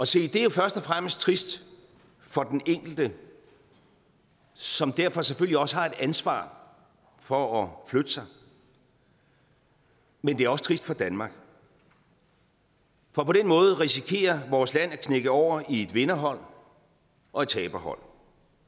se det er jo først og fremmest trist for den enkelte som derfor selvfølgelig også har et ansvar for at flytte sig men det er også trist for danmark for på den måde risikerer vores land at knække over i et vinderhold og et taberhold